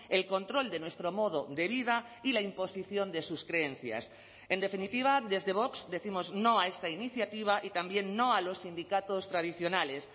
el control de nuestro modo de vida y la imposición de sus creencias en definitiva desde vox décimos no a esta iniciativa y también no a los sindicatos tradicionales